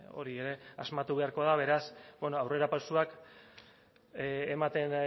hori ere asmatu beharko da beraz bueno aurrerapausoak ematen